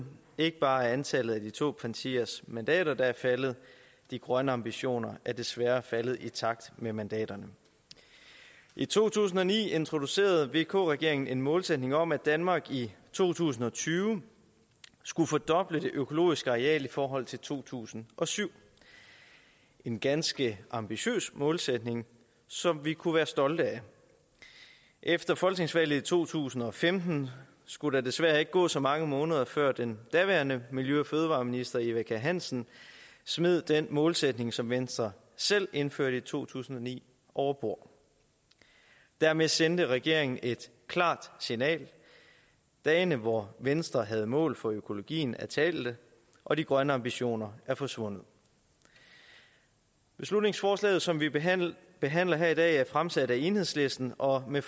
ikke bare er antallet af de to partiers mandater der er faldet de grønne ambitioner er desværre faldet i takt med mandaterne i to tusind og ni introducerede vk regeringen en målsætning om at danmark i to tusind og tyve skulle fordoble det økologiske areal i forhold til to tusind og syv en ganske ambitiøs målsætning som vi kunne være stolte af efter folketingsvalget i to tusind og femten skulle der desværre ikke gå så mange måneder før den daværende miljø og fødevareminister eva kjer hansen smed den målsætning som venstre selv indførte i to tusind og ni over bord dermed sendte regeringen et klart signal dagene hvor venstre havde mål for økologien var talte og de grønne ambitioner var forsvundet beslutningsforslaget som vi behandler behandler her i dag er fremsat af enhedslisten og med